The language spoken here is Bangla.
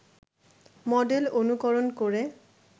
মডেল অনুকরণ করে